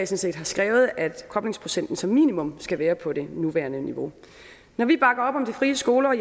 set har skrevet at koblingsprocenten som minimum skal være på det nuværende niveau når vi bakker op om de frie skoler